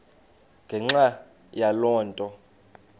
ngenxa yaloo nto